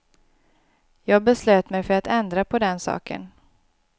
Jag beslöt mig för att ändra på den saken.